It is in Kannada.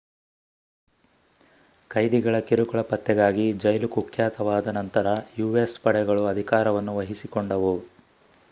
ಕೈದಿಗಳ ಕಿರುಕುಳ ಪತ್ತೆಯಾಗಿ ಜೈಲು ಕುಖ್ಯಾತವಾದ ನಂತರ ಯುಎಸ್ ಪಡೆಗಳು ಅಧಿಕಾರವನ್ನು ವಹಿಸಿಕೊಂಡವು